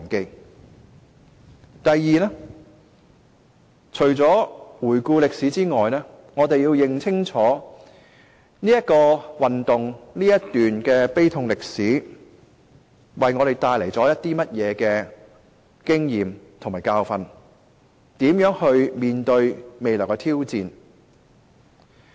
第二個重要意義在於除了回顧歷史外，我們要認清楚這場運動、這段悲痛歷史為我們帶來甚麼經驗和教訓，我們要如何面對未來的挑戰。